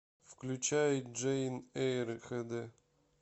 включай джейн эйр хд